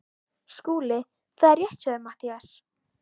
SKÚLI: Það er rétt hjá þér Matthías.